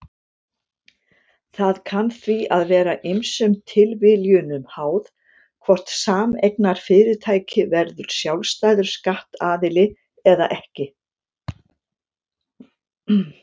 Það kann því að vera ýmsum tilviljunum háð hvort sameignarfyrirtæki verður sjálfstæður skattaðili eða ekki.